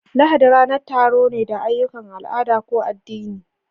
Lahadi ranar taro ne da ayyukan al'ada ko addini